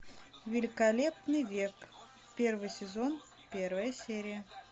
великолепный век первый сезон первая серия